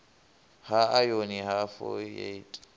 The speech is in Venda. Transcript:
ha ayoni na fo ieti